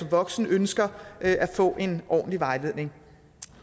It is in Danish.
voksen ønsker at få en ordentlig vejledning